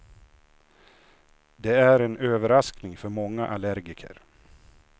Det är en överraskning för många allergiker.